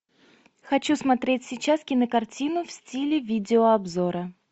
хочу смотреть сейчас кинокартину в стиле видеообзора